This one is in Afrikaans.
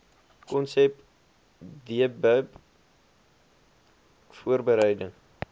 konsep dbip voorbereiding